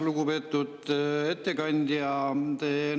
Lugupeetud ettekandja!